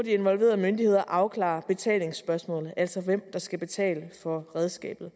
involverede myndigheder må derefter afklare betalingsspørgsmålet altså hvem der skal betale for redskabet